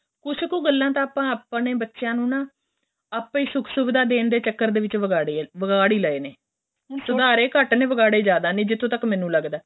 ਕੁੱਛ ਕ਼ ਗੱਲਾਂ ਤਾਂ ਆਪਾਂ ਆਪਣੇ ਬੱਚਿਆ ਨੂੰ ਨਾ ਆਪਾਂ ਸੁੱਖ ਸੁੱਖ ਦਾ ਦੇਣ ਚੱਕਰ ਦੇ ਵਿੱਚ ਵਿਗਾੜੇ ਏ ਵਿਗਾੜ ਹੀ ਲਏ ਨੇ ਸੁਧਾਰੇ ਘੱਟ ਨੇ ਵਿਗਾੜੇ ਜ਼ਿਆਦਾ ਨੇ ਜਿਥੋ ਤੱਕ ਮੈਨੂੰ ਲੱਗਦਾ ਏ